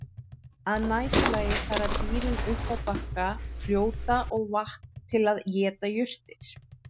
Að næturlagi fara dýrin upp á bakka fljóta og vatna til að éta jurtir.